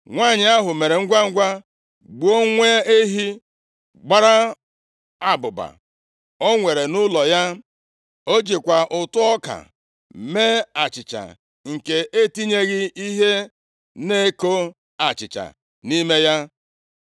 Nwanyị ahụ mere ngwangwa gbuo nwa ehi gbara abụba o nwere nʼụlọ ya. O jikwa ụtụ ọka mee achịcha nke etinyeghị ihe na-eko achịcha nʼime ya,